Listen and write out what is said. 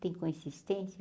Tem consistência?